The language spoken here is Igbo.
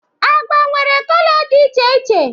Agba nwere kọlọ dị iche iche.